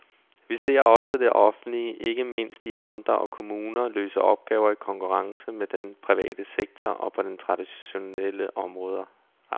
Vi ser også det offentlige, ikke mindst i amter og kommuner, løse opgaver i konkurrence med den private sektor og på dens traditionelle områder.